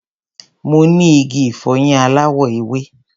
Mo ní igi ìfọyín aláwọ̀ ewé.